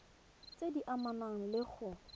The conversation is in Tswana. tse di amanang le go